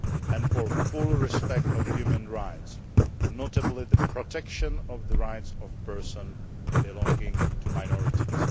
law and for full respect of human rights, notably the protection of the rights of persons belonging to minorities.